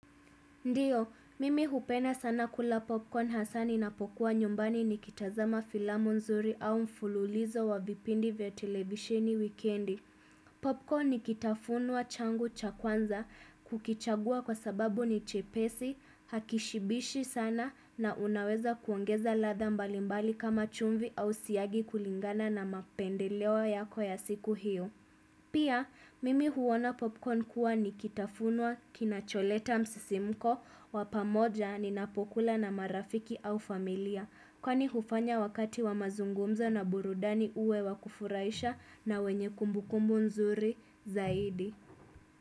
Ndio, mimi hupenda sana kula popcorn hasa ninapokuwa nyumbani nikitazama filamu nzuri au mfululizo wa vipindi vya televisheni wikendi. Popcorn ni kitafunwa changu cha kwanza kukichagua kwa sababu ni chepesi, hakishibishi sana na unaweza kuongeza latha mbalimbali kama chumvi au siagi kulingana na mapendeleo yako ya siku hiyo. Pia, mimi huona popcorn kuwa ni kitafunwa, kinacholeta msisimko, wa pamoja ninapokula na marafiki au familia. Kwani hufanya wakati wa mazungumza na burudani uwe wakufurahisha na wenye kumbukumbu nzuri zaidi.